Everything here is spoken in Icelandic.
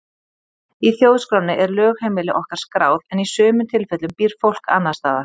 Í þjóðskránni er lögheimili okkar skráð en í sumum tilfellum býr fólk annars staðar.